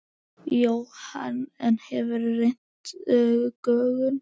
Jóhann: En hefurðu leynt gögnum?